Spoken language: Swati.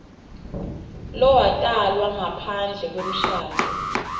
lowatalwa ngaphandle kwemshado